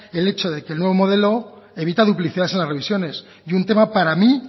el hecho de que el nuevo modelo evita duplicidades en las revisiones y un tema para mí